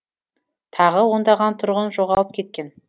тағы ондаған тұрғын жоғалып кеткен